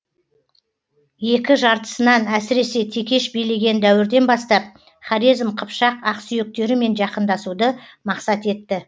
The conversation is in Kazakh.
екі жартысынан әсіресе текеш билеген дәуірден бастап хорезм қыпшақ ақсүйектерімен жақындасуды мақсат етті